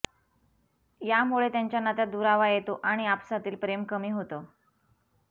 या मुळे त्यांच्या नात्यात दुरावा येतो आणि आपसातील प्रेम कमी होतं